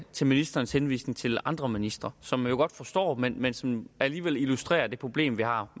til ministerens henvisning til andre ministre som jeg jo godt forstår men men som alligevel illustrerer det problem vi har